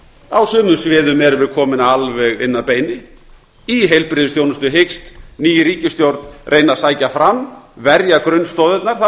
á sumum sviðum erum við komin alveg inn að beini í heilbrigðisþjónustu hyggst ný ríkisstjórn reyna að sækja fram verja grunnstoðirnar það